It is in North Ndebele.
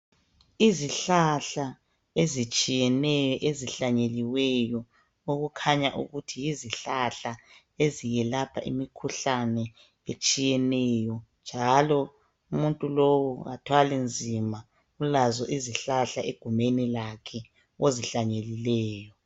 Izihlahla ezitshiyeneyo ezihlanyeliweyo okukhanya ukuthi yizihlahla eziyelapha imikhuhlane etshiyeneyo. Njalo umuntu lowu kathwali nzima ulazo izihlahla egumeni lakhe ozihlanyelileyo.